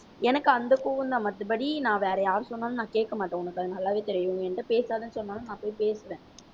எனக்கு அந்த கோவம்தான் மத்தபடி நான் வேற யார் சொன்னாலும் நான் கேட்க மாட்டேன் உனக்கு அது நல்லாவே தெரியும். நீ என்கிட்ட பேசாதேன்னு சொன்னாலும் நான் போய் பேசுவேன்.